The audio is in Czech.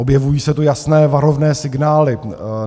Objevují se tu jasné varovné signály.